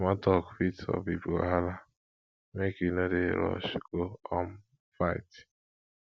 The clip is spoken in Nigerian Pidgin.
small tok fit solve big wahala make you no dey rush go um fight